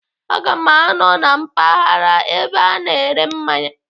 Aga m anọ na mpaghara ebe ana ere mmanya.